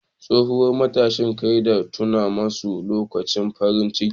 Tsohuwar matashin kai ta tuna masa lokutan farin ciki.